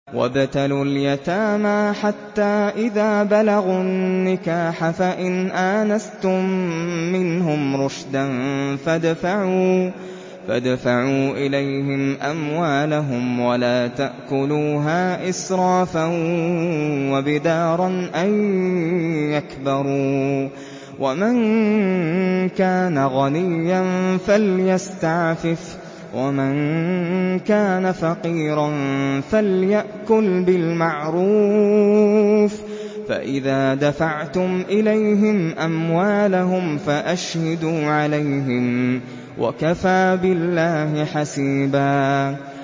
وَابْتَلُوا الْيَتَامَىٰ حَتَّىٰ إِذَا بَلَغُوا النِّكَاحَ فَإِنْ آنَسْتُم مِّنْهُمْ رُشْدًا فَادْفَعُوا إِلَيْهِمْ أَمْوَالَهُمْ ۖ وَلَا تَأْكُلُوهَا إِسْرَافًا وَبِدَارًا أَن يَكْبَرُوا ۚ وَمَن كَانَ غَنِيًّا فَلْيَسْتَعْفِفْ ۖ وَمَن كَانَ فَقِيرًا فَلْيَأْكُلْ بِالْمَعْرُوفِ ۚ فَإِذَا دَفَعْتُمْ إِلَيْهِمْ أَمْوَالَهُمْ فَأَشْهِدُوا عَلَيْهِمْ ۚ وَكَفَىٰ بِاللَّهِ حَسِيبًا